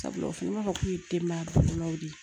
Sabula o fini b'a fɔ k'u ye denbaya bakurubaw de ye